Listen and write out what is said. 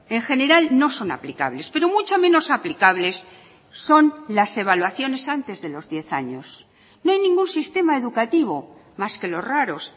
en general no son aplicables pero mucho menos aplicables son las evaluaciones antes de los diez años no hay ningún sistema educativo más que los raros